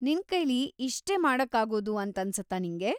ನಿನ್ಕೈಲಿ ಇಷ್ಟೇ ಮಾಡೋಕಾಗೋದು ಅಂತನ್ಸತ್ತಾ ನಿಂಗೆ?